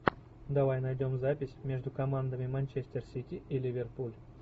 давай найдем запись между командами манчестер сити и ливерпуль